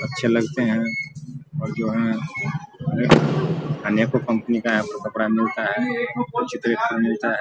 अच्छे लगते है अनेको कंपनी का यहाँ कपडा मिलता है उचित रेट पर मिलता है ।